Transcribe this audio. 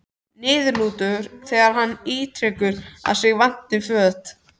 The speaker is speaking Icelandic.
Niðurlútur þegar hann ítrekar að sig vanti föt.